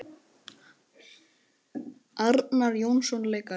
Arnar Jónsson leikari